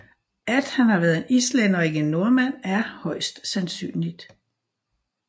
At han har været en Islænder og ikke en Nordmand er højst sandsynligt